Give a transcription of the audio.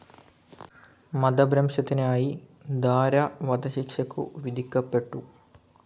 മതഭ്രംശത്തിനായി ദാര വധശിക്ഷക്കു വിധിക്കപ്പെട്ടു.